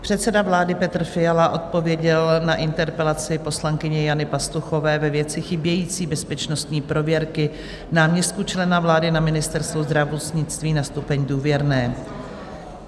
Předseda vlády Petr Fiala odpověděl na interpelaci poslankyně Jany Pastuchové ve věci chybějící bezpečnostní prověrky náměstků člena vlády na Ministerstvu zdravotnictví na stupeň "důvěrné".